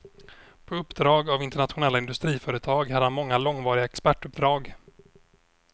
På uppdrag av internationella industriföretag hade han många långvariga expertuppdrag.